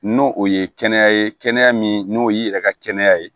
N'o o ye kɛnɛya min n'o y'i yɛrɛ ka kɛnɛya ye